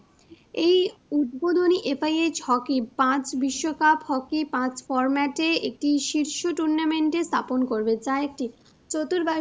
উদ্বোধনী FIH hockey পাঁচ বিশ্বকাপ hockey পাঁচ format এ একটি শীর্ষ tournament এ স্থাপন করবে যা একটি চতুর